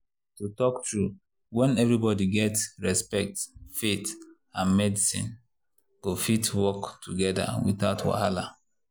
to talk true when everybody get respect faith and medicine go fit work together without wahala.